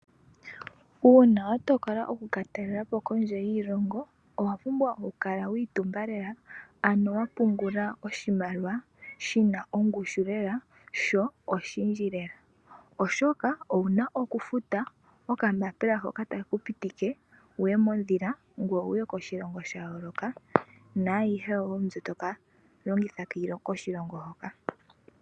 Uuna watokola okulatalelapo kondje yiilongo owapubwa oku kala wiitumba lela ano wapungula oshimaliwa shina ongushu lela sho oshindji lela oshoka owuna okufuta okambaambila hoka takekupitike wuye modhila ngoye wuye koshilongo shayooloka naayihe wo mbi tokalongitha koshilongo hoka.